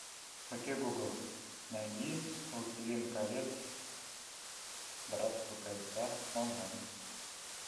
окей гугл найди властелин колец братство кольца онлайн